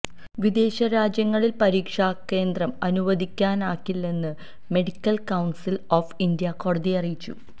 വിദേശ രാജ്യങ്ങളിൽ പരീക്ഷാകേന്ദ്രം അനുവദിക്കാനാകില്ലെന്ന് മെഡിക്കൽ കൌൺസിൽ ഓഫ് ഇന്ത്യ കോടതിയെ അറിയിച്ചു